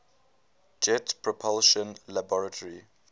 jet propulsion laboratory